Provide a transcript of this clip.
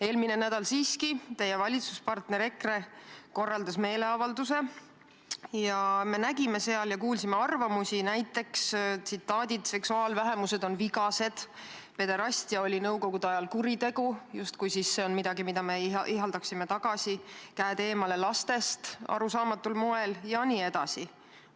Eelmisel nädalal korraldas teie valitsusparter EKRE siiski meeleavalduse ning me nägime ja kuulsime seal näiteks selliseid arvamusi, et seksuaalvähemused on vigased, pederastia oli nõukogude ajal kuritegu – justkui see oleks midagi, mida me ihaldaksime tagasi –, käed eemale lastest – arusaamatul moel – jne.